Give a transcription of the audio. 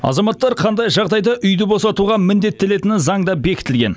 азаматтар қандай жағдайда үйді босатуға міндеттелетіні заңда бекітілген